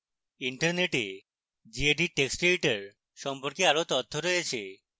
internet gedit text editor সম্পর্কে অনেক তথ্য রয়েছে